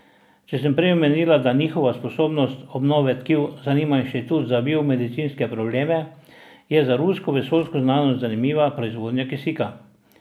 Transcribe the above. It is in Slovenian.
Če sem prej omenila, da njihova sposobnost obnove tkiv zanima Inštitut za biomedicinske probleme, je za rusko vesoljsko znanost zanimiva proizvodnja kisika.